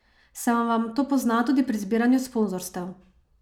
Se vam to pozna tudi pri zbiranju sponzorstev?